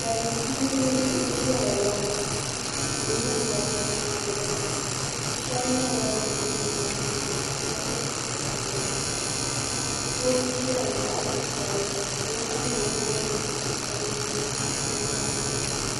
Salin gbiribi n ʒɛya la ka tihi ni mori ko n giliba bi shab nyɛla bin gbubi soobuya ka shab gbubi tahapona doo n ʒɛya zaɣ titali la ka o ningbuni kom nyɛ zaɣ sabinli ka o sitira nyɛ zaɣ piɛlli